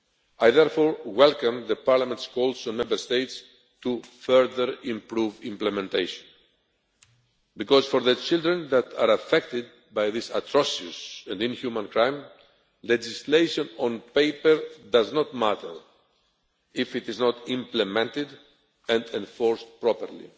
I therefore welcome Parliament's call on Member States to further improve implementation because, for the children that are affected by this atrocious and inhuman crime, legislation on paper does not matter if it is not implemented and enforced properly.